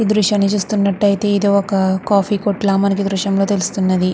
ఈ దృశ్యాన్ని చూస్తున్నట్టాయితే ఇది ఒక కాఫీ కొట్టు లా మనకి ఈ దృశ్యం లో తెలుస్తున్నది.